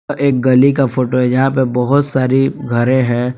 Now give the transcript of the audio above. अ एक गली का फोटो है यहां पे बहुत सारी घरे हैं।